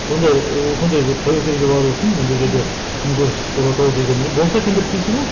сондай ыыы сондай бір тәуекелге бару үшін енді ол жерде күнкөріс болады ау дегеннен болса екен деп тілейсің ғой